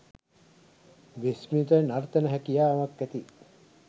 විශ්මිත නර්තන හැකියාවක් ඇති